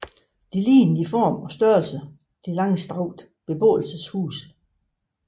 De lignede i form og størrelse de langstrakte beboelseshuse